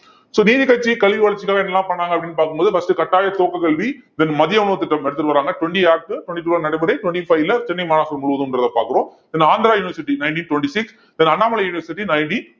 so நீதிக்கட்சி கல்வி வளர்ச்சிக்காக என்னெல்லாம் பண்ணாங்க அப்படின்னு பார்க்கும்போது first கட்டாய துவக்கக்கல்வி then மதிய உணவு திட்டம் எடுத்துட்டு வர்றாங்க twenty act twenty-two ல நடைமுறை twenty-five ல சென்னை மாநகர் முழுவதும்ன்றதை பார்க்கிறோம் then Andhra university nineteen twenty-six then Annamalai university nineteen